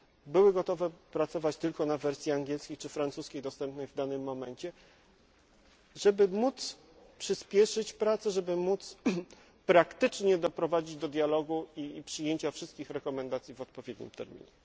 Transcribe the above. Były gotowe pracować tylko na wersji angielskiej czy francuskiej, dostępnej w danym momencie, żeby móc przyspieszyć prace, żeby móc praktycznie doprowadzić do dialogu i przyjęcia wszystkich rekomendacji w odpowiednim terminie.